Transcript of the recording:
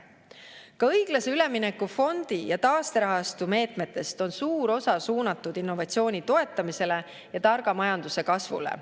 Ka õiglase ülemineku fondi ja taasterahastu meetmetest on suur osa suunatud innovatsiooni toetamisele ja targa majanduse kasvule.